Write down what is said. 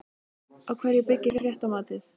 Á hverju byggir fréttamatið?